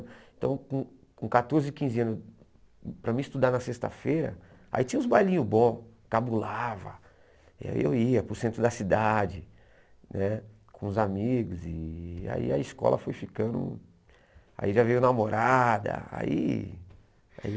Então com com quatorze, quinze anos, para mim estudar na sexta-feira, aí tinha uns bailinhos bons, cabulava, aí eu ia para o centro da cidade, né com os amigos, e aí a escola foi ficando, aí já veio namorada, aí